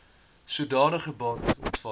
sodanige bates ontvang